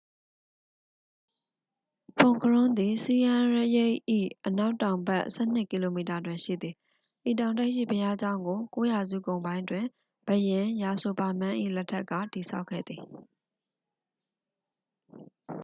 ဖွန်ခရွမ်းသည် ဆီယန်းရိပ် ၏ အနောက်တောင်ဘက် 12 ကီလိုမီတာတွင်ရှိသည် ဤတောင်ထိပ်ရှိ ဘုရားကျောင်းကို 9 ရာစုကုန်ပိုင်းတွင် ဘုရင် ယာဆိုဗာမန်း၏ လက်ထက်က တည်ဆောက်ခဲ့သည်